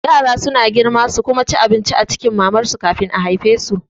Yara suna girma su kuma ci abinci a cikin mamar su kafin a haifesu